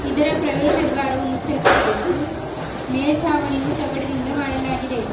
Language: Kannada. ಇದರ ಪ್ರವೇಶದಾರವು ಮುಚ್ಚಲ್ಪಟ್ಟಿದ್ದು ಮೇಲ್ಚಾವಣಿಯು ತಗಡಿನಿಂದ ಮಾಡಲಾಗಿದೆ.